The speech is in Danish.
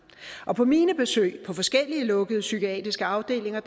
og på mine besøg på forskellige lukkede psykiatriske afdelinger